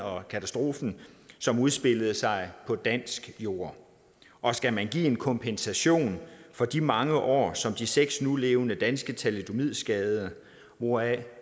og katastroferne som udspillede sig på dansk jord og skal man give en kompensation for de mange år som de seks nulevende danske thalidomidskadede hvoraf